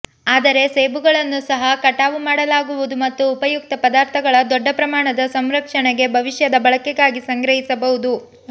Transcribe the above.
ಆದರೆ ಸೇಬುಗಳನ್ನು ಸಹ ಕಟಾವು ಮಾಡಲಾಗುವುದು ಮತ್ತು ಉಪಯುಕ್ತ ಪದಾರ್ಥಗಳ ದೊಡ್ಡ ಪ್ರಮಾಣದ ಸಂರಕ್ಷಣೆಗೆ ಭವಿಷ್ಯದ ಬಳಕೆಗಾಗಿ ಸಂಗ್ರಹಿಸಬಹುದು